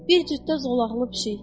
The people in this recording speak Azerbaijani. Bir cütdə zolaqlı pişik.